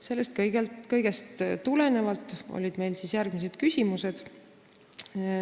Sellest kõigest tulenevalt olid meil ministrile järgmised küsimused.